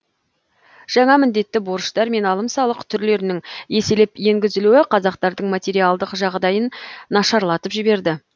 жаңа міндетті борыштар мен алым салық түрлерінің еселеп енгізілуі қазақтардың материалдық жағдайын нашарлатып жіберді